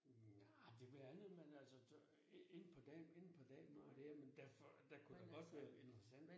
Nej, det blandet men altså så så ikke på ikke på den måde der men derfor der kunne godt være interessant